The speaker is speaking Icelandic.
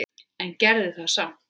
En gerði það samt.